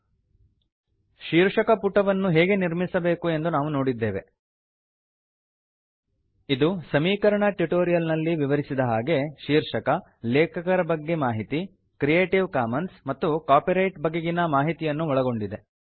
ಶೀರ್ಷಕಪುಟ title page ವನ್ನು ಹೇಗೆ ನಿರ್ಮಿಸಬೇಕು ಎಂದು ನಾವು ನೋಡಿದ್ದೇವೆ ಇದು ಸಮೀಕರಣ ಟ್ಯುಟೋರಿಯಲ್ ನಲ್ಲಿ ವಿವರಿಸಿದ ಹಾಗೆ ಶೀರ್ಷಕ ಲೇಖಕರ ಬಗ್ಗೆ ಮಾಹಿತಿ ಕ್ರಿಯೇಟಿವ್ ಕಾಮನ್ಸ್ ಮತ್ತು ಕಾಪಿರೈಟ್ ನ ಬಗೆಗಿನ ಮಾಹಿತಿಯನ್ನು ಒಳಗೊಂಡಿದೆ